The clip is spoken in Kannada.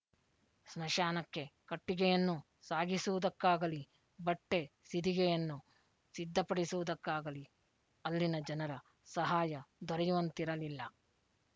ಸ್ಮಶಾನಕ್ಕೆ ಕಟ್ಟಿಗೆಯನ್ನು ಸಾಗಿಸುವುದಕ್ಕಾಗಲಿ ಬಟ್ಟೆ ಸಿದಿಗೆಯನ್ನು ಸಿದ್ಧ ಪಡಿಸುವುದಕ್ಕಾಗಲಿ ಅಲ್ಲಿನ ಜನರ ಸಹಾಯ ದೊರೆಯುವಂತಿರಲಿಲ್ಲ